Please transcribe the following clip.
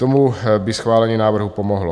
Tomu by schválení návrhů pomohlo.